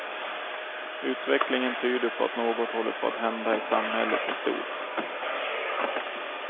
Utvecklingen tyder på att något håller på att hända i samhället i stort.